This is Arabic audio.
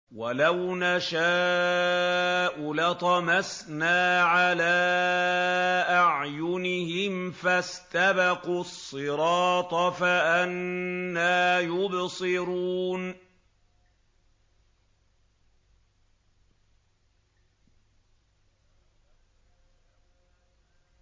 وَلَوْ نَشَاءُ لَطَمَسْنَا عَلَىٰ أَعْيُنِهِمْ فَاسْتَبَقُوا الصِّرَاطَ فَأَنَّىٰ يُبْصِرُونَ